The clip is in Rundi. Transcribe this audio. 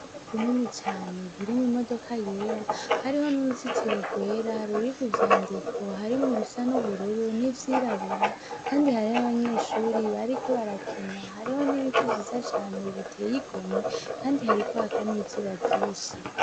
Ikigo kinini cane kirimwo imodoka yera, hariko n'uruzitiro rwera ruriko ivyandiko harimwo ibisa n'ubururu hamwe n'ivyirabura kandi hariho abanyeshure bariko barakina, hariho n'ibiti vyiza cane biteye igomwe kandi, hariko haka n'izuba ryinshi.